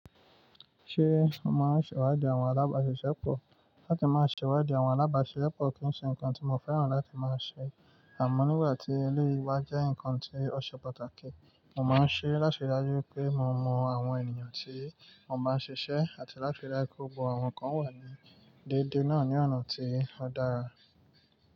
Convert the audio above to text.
Ṣé o máa ń ṣèwádìí àwọn alábáṣiṣẹ́ pọ̀? Láti máa ṣèwádìí àwọn alábáṣiṣẹ́ pọ̀ kì í ṣe nǹkan tí mo fẹ́ràn láti máa ṣe. Àmọ́ nígbà tí eléyìí bá jẹ́ nǹkan tí ó ṣe pàtàkì, mo máa ń ṣe é láti rí i dájú pé mo mọ àwọn ènìyàn tí wọ́n bá ń ṣiṣẹ́ àti láti rí i dájú pé gbogbo àwọn kan wà ní déédéé náà ní ọ̀nà tí ó dára.